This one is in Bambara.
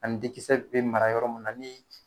Ani den kisɛ be mara yɔrɔ mun na ni c